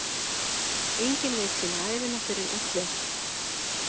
Engin veit sína ævina fyrr en öll er.